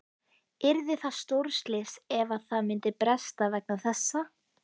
Yrði það stórslys ef að það myndi bresta vegna þessa?